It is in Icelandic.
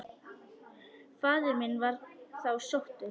Faðir minn var þá sóttur.